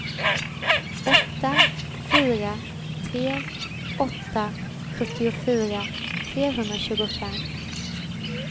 åtta fyra tre åtta sjuttiofyra trehundratjugofem